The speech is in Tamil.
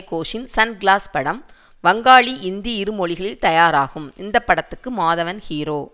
கோஷின் சன் கிளாஸ் படம் வங்காளி இந்தி இரு மொழிகளில் தயாராகும் இந்த படத்துக்கு மாதவன் ஹீரோ